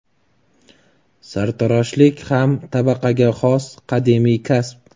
Sartaroshlik ham tabaqaga xos qadimiy kasb.